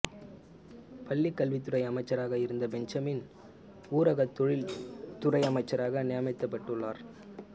பள்ளிக் கல்வித்துறை அமைச்சராக இருந்த பெஞ்சமின் ஊரக தொழில் துறை அமைச்சராக நியமிக்கப்பட்டுள்ளார்